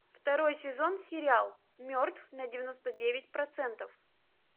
второй сезон сериал мертв на девяносто девять процентов